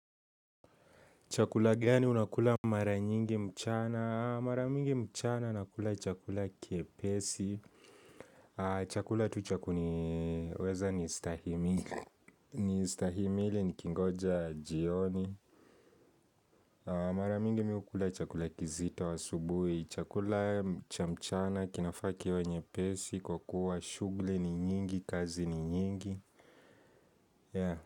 Chakula gani unakula mara nyingi mchana? Mara mingi mchana nakula chakula kiepesi. Chakula tu cha kuniweza kunistahimili nikingoja jioni Mara mingi mimi hukula chakula kizito asubuhi Chakula cha mchana kinafaa kuwa nyepesi kwa kuwa shughuli ni nyingi, kazi ni nyingi.